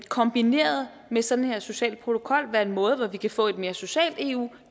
kombineret med sådan en social protokol her være en måde hvorpå vi kan få et mere socialt eu